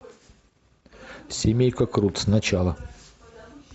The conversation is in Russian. семейка крудс начало